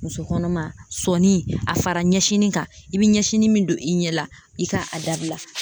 Muso kɔnɔma sɔnni a fara ɲɛsini kan i be ɲɛsini min don i ɲɛ la i ka a dabila